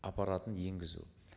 аппаратын енгізу